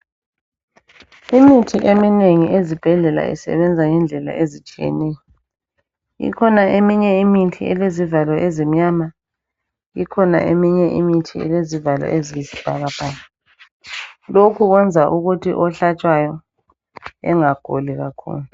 Imithi eminengi esibhedlela isebenza ngendlela ezitshiyeneyo. Ikhona eminye imithi elezivalo ezimnyama, ikhona eminye elezivalo eziyisibhakabhaka. Lokhu kwenza ukuthi ohlatshwayo engaguli kakhulu.